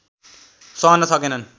सहन सकेनन्